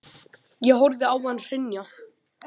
Ég horfði á hann hrynja.